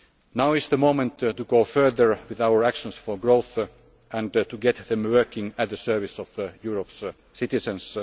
on the table. Now is the moment to go further with our actions for growth and to get them working at the service of Europe's